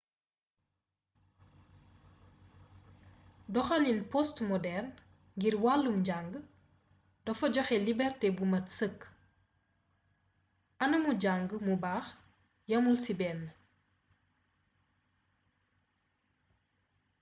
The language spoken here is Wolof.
doxaliin postmoderne ngir wàllum njang dafa joxe liberté bu mat sëkk anamu jàng mu baax yamul ci benn